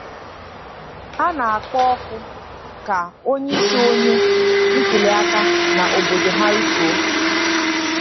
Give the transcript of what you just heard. Ha na-akpọ oku ka onyeisi oche ntuliaka na obodo ha rituo